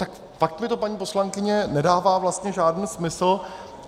Tak pak mi to, paní poslankyně, nedává vlastně žádný smysl.